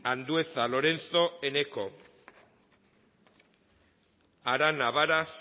andueza lorenzo eneko arana varas